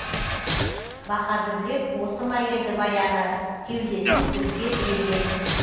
баһадұрлер осы ма еді баяғы кеудесін көкке тіреген